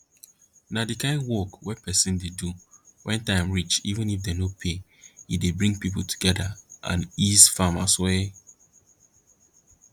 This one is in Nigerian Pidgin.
na di kain wok we persin dey do wen time reach even if dem no pay e dey bring pipo together and ease farmers wey